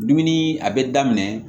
Dumuni a bɛ daminɛ